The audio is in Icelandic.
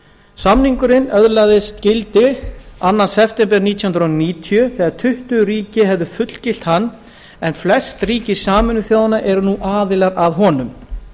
samningurinn öðlaðist gildi annan september nítján hundruð níutíu þegar tuttugu ríki höfðu fullgilt hann en flest ríki sameinuðu þjóðanna eru nú aðilar að honum